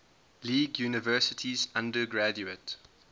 league universities undergraduate